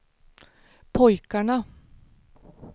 pojkarna